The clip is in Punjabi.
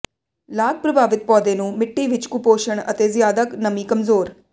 ਲਾਗ ਪ੍ਰਭਾਵਿਤ ਪੌਦੇ ਨੂੰ ਮਿੱਟੀ ਵਿੱਚ ਕੁਪੋਸ਼ਣ ਅਤੇ ਜ਼ਿਆਦਾ ਨਮੀ ਕਮਜ਼ੋਰ